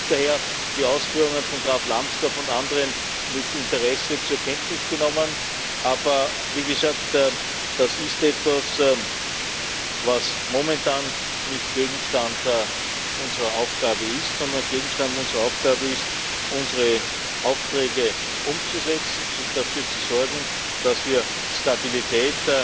Ich habe daher die Ausführungen von Graf Lambsdorff und anderen mit Interesse zur Kenntnis genommen. Aber, wie gesagt, das ist etwas, was momentan nicht Gegenstand unserer Aufgabe ist, sondern Gegenstand unserer Aufgabe ist, unsere Aufträge umzusetzen, dafür zu sorgen, dass wir Stabilität